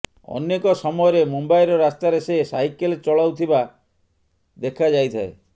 ଅନେକ ସମୟରେ ମୁମ୍ୱାଇର ରାସ୍ତାରେ ସେ ସାଇକେଲ୍ ଚଲାଉଥିବା ଦେଖାଯାଇଥାଏ